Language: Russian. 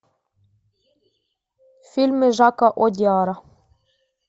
фильмы жака одиара